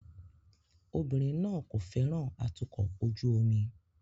Obìnrin náà kò fẹ́ràn atukọ̀ ojú omi